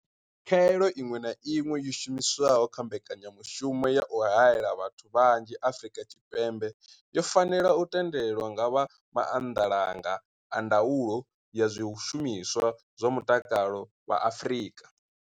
Khaelo iṅwe na iṅwe yo shumiswaho kha mbekanyamushumo ya u haela vhathu vhanzhi Afrika Tshipembe yo fanela u tendelwa nga vha maanḓalanga a ndaulo ya zwishumiswa zwa mutakalo vha Afrika.